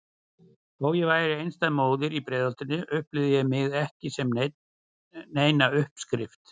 Þó ég væri einstæð móðir í Breiðholtinu upplifði ég mig ekki sem neina uppskrift.